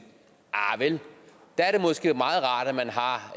arh vel der er det måske meget rart at man har